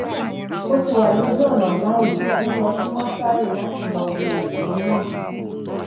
ó ti wà lójú ọnà báyìí ó ń lọ sí mọṣúárì láti lọọ wo òkú náà